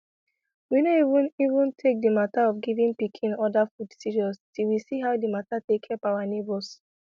we no even even take the matter of giving pikin other food serious till we see how the matter take help our neighbors